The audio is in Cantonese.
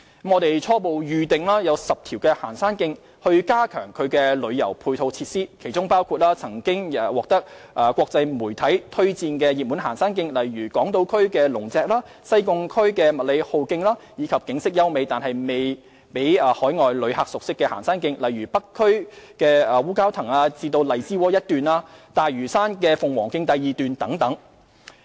我們初步選定10條行山徑，將加強其旅遊配套設施，其中包括曾獲國際媒體推薦的熱門行山徑，例如港島區的龍脊、西貢區的麥理浩徑，以及景色優美但未為海外旅客熟悉的行山徑，例如北區的烏蛟騰至荔枝窩一段、大嶼山的鳳凰徑第二段等。